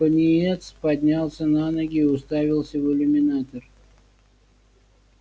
пониетс поднялся на ноги и уставился в иллюминатор